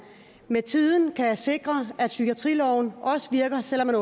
med tiden kan sikre at psykiatriloven også virker selv om man